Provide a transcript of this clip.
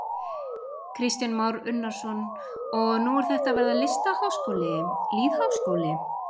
Kristján Már Unnarsson: Og nú er þetta að verða listaháskóli, lýðháskóli?